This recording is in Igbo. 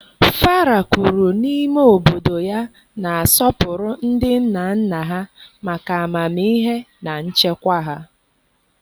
Fara kwuru n'ime obodo ya na-asọpụrụ ndị nna nna ha maka amamihe na nchekwa ha.